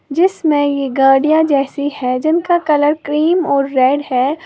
जिसमें ये गाड़ियां जैसी है जिनका कलर क्रीम और रेड है।